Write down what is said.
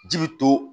Ji bi to